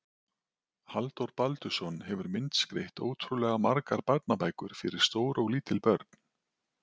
Halldór Baldursson hefur myndskreytt ótrúlega margar barnabækur fyrir stór og lítil börn.